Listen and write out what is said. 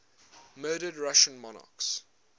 murdered russian monarchs